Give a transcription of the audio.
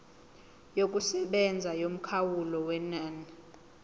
yokusebenza yomkhawulo wenani